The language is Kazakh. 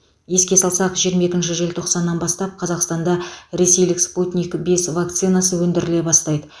еске салсақ жиырма екінші желтоқсаннан бастап қазақстанда ресейлік спутник бес вакцинасы өндіріле бастайды